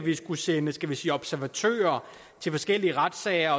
sende skal vi sige observatører til forskellige retssager